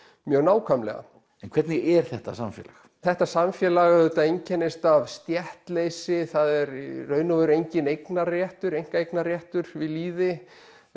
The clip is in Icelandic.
mjög nákvæmlega en hvernig er þetta samfélag þetta samfélag auðvitað einkennist af stéttleysi það er í raun og veru enginn eignarréttur einkaeignarréttur við lýði